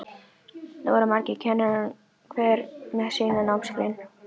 Nú verða margir kennarar, hver með sína námsgrein.